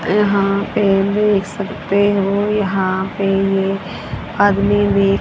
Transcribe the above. यहां पे देख सकते हो यहां पे ये आदमी भी--